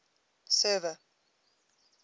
server